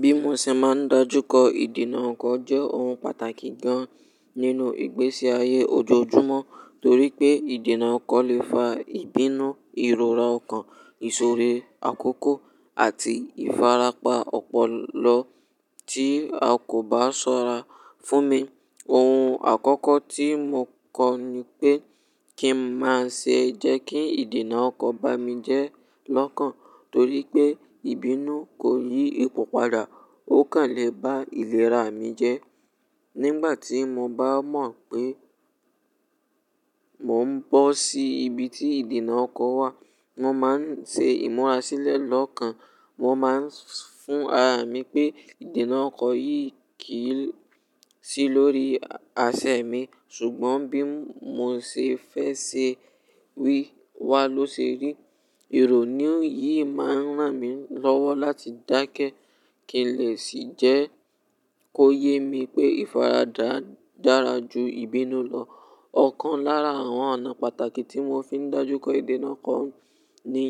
Bí mo ṣe máa ń dájú kó ìdènà ọkọ̀ jẹ́ ohun pàtàkì gan-an nínú ìgbésí ayé ojoojúmọ́ torí pé ìdènà ọkọ̀ lè fa ìbínú, ìrora ọkàn, ìṣòro, àkókò àti ìfarapa ọpọlọ tí a kò bá ṣọ́ra. Fún mi, ohun àkọ́kọ́ tí mo kọ ni pé kí n má ṣe jẹ́ kí ìdènà ọkọ̀ bá mi jẹ́ lọ́kàn torí pé ìbínú kò yí ipò padà, ó kàn lè bá ìlera mi jẹ́. Nígbà tí mo bá mọ̀ pé mò ń bọ́ sí ibi tí ìdènà ọkọ̀ wà, mo máa ń ṣe ìmúra sílẹ̀ lọ́kàn. Mo máa ń fún ara mi pé ìdènà ọkọ̀ yìí kì í sí lórí àsè mi ṣùgbọ́n bí mo ṣe fẹ́ ṣe wí, wá ló ṣe rí. Ìrònú yìí máa ń ràn mí lọ́wọ́ láti dákẹ́ kí n lè sì jẹ́ kó yé mi pé ìfaradà dára ju ìbínú lọ. Ọ̀kan lára àwọn ọ̀nà pàtàkì tí mo fi ń dájú kó ìdènà ọkọ̀ ni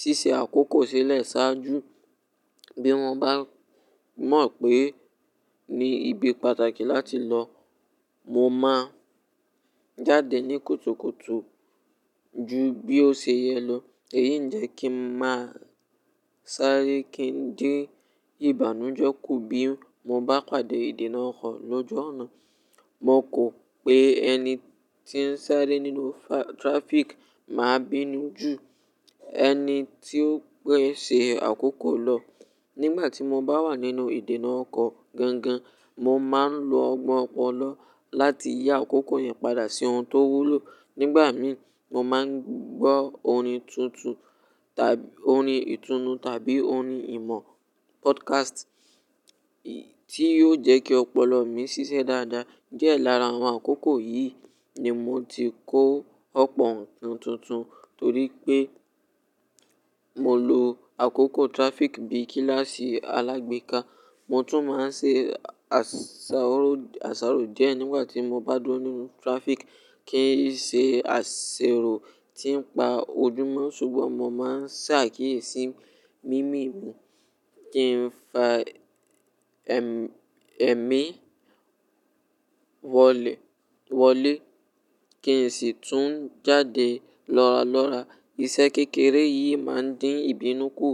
ṣíṣe àkókò sílẹ̀ ṣáájú. Bí mo bá mọ̀ pé ni ibi pàtàkì láti lọ, mo máa jáde ní kùtùkùtù ju bí ó ṣe yẹ lọ. Èyí ń jẹ kí n máa sáré kí n dé ìbànújẹ́ kù bí mo bá pàdé ìdènà ọkọ̀ lọ́ju oná. Mo kọ̀ pé ẹni tí ń sáré nínú traffic máa bínú ju ẹni tí ó gbé ṣe àkókò lọ. Nígbà tí mo bá wà nínú ìdènà ọkọ̀ gangan, mo máa ń lo ọgbon ọpọlọ láti yi àkókò yẹn padà sí ohun tó wúlò. Nígbà mí, mo máa ń gbọ́ orin tuntun tàbí orin ìtùnú tàbí orin ìmọ̀ podcast tí yiò jẹ́ kí ọpọlọ mi ṣiṣẹ́ dáadáa. Diẹ lára àwọn àkókò yìí ni mo ti kó ọ̀pọ̀ ohun tuntun torí pé mo lo àkókò traffic bí kíláàsì alágbéka. Mo tún máa ń ṣe àsáró díẹ̀ nígbà tí mo bá dúró nínú traffic kí n ṣe àṣerò tí ń pa ojúmọ́ ṣùgbọ́n mo máa ń ṣàkíyèsí mímì mi kí n fa ẹ̀mí wọlé kí n sì tún jáde lọ́ralọ́ra. Iṣẹ́ kékeré yìí máa ń dín ìbínú kù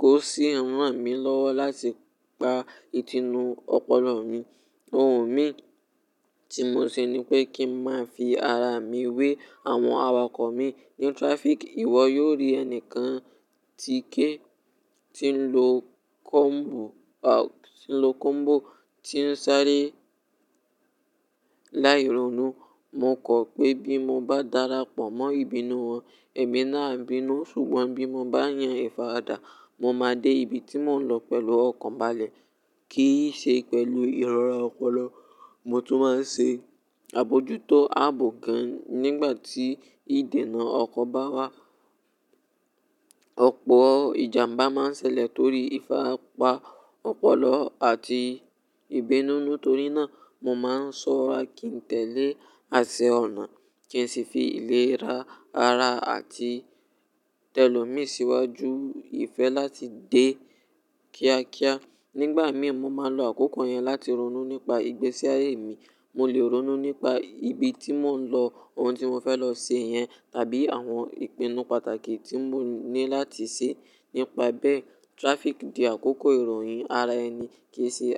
kó sì rán mi lọ́wọ́ láti pa ti inu ọpọlọ mi. Ohun mìí tí mo ṣe ni pé kí n máa fi ara mi wé àwọn awakọ̀ mi. Nínú traffic, ìwọ yiò rí ẹni kan tíkè tí ń lo combo, tí ń lo combo tí ń sáré láì ronú. Mo kọ̀ pé bí mo bá darapọ̀ mọ́ ìbínú wọn, ẹ̀mi náà á bínú ṣùgbọ́n bí mo bá yan ìfaradà, mo máa dé ibi tí mò ń lọ pẹ̀lú ọkàn balẹ̀ kì í ṣe pẹ̀lú ìrora ọpọlọ. Mo tún máa ń ṣe àbojútó abo gan nígbà tí ìdènà ọkọ̀ bá wá. Ọ̀pọ̀ ìjàmbá máa ń ṣẹlẹ̀ torí ìfarapa ọpọlọ àti ìbínú. Nítorí náà, mo máa ń ṣọ́ra kí n tẹ̀lé àsè ọ̀nà kí n sì fi ìlera ara àti tẹ́lọ̀ mi síwájú ìfẹ́ láti dé kíákíá. Nígbà mí, mo máa ń lo àkókò yẹn láti ronú nípa ìgbésí ayé mi. Mo lè ronú nípa ibi tí mò ń lọ, ohun tí mo fẹ́ lọ ṣe yẹn tàbí àwọn ìpinnu pàtàkì tí mo ní láti ṣe. Nípa bẹ́ẹ̀, traffic di àkókò ìròyìn ara ẹni kì í ṣe-